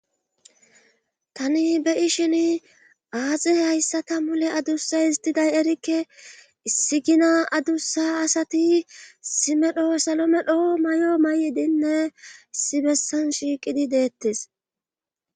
Tani be ishin aaxe hayssata mule adussa histiday erikke issigina adussa asati simedho salo medho may'o may' diinne isi bessan shiiqidi deettes.